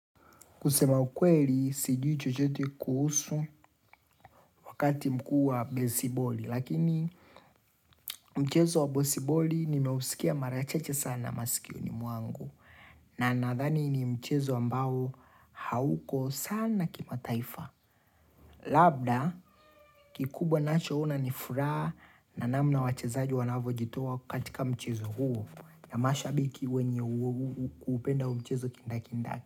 Kusema ukweli, si jui chochete kuhusu wakati mkua besiboli. Lakini mchezo wa bosiboli nimeusikia marachache sana masikio ni mwangu. Na nadhani ni mchezo ambao hauko sana kima taifa. Labda, kikubwa nacho una nifura na namna wachezaji wanavo jitoa kukatika mchezo huo. Na mashabiki wenye kuupenda mchezo kinda kinda.